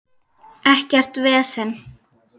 Ekkert vesen!